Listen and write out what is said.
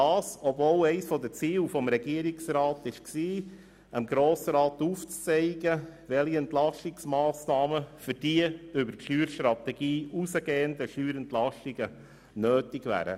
Dies, obwohl eines der Ziele des Regierungsrats darin bestand, dem Grossen Rat aufzuzeigen, welche Entlastungsmassnahmen für die über die Steuerstrategie hinausgehenden Steuerentlastungen nötig wären.